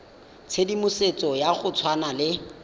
tshedimosetso ya go tshwana le